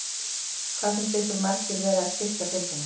Hvað finnst ykkur margir vera að styrkja deildina?